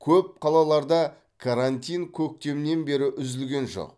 көп қалаларда карантин көктемнен бері үзілген жоқ